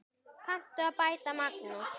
Kanntu að bæta, Magnús?